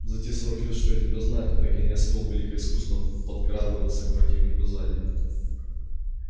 за те сорок лет что я тебя знаю ты так и не освоил великое искусство подкрадываться к противнику сзади